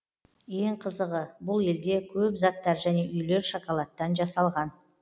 ең қызығы бұл елде көп заттар және үйлер шоколадтан жасалған